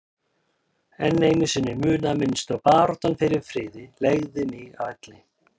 En einu sinni munaði minnstu að baráttan fyrir friði legði mig að velli.